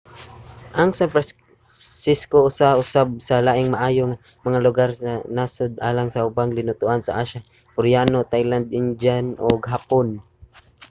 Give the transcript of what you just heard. ang san francisco usa usab sa labing maayo nga mga lugar sa nasod alang sa ubang linutoan sa asya: koreano thai indian ug hapon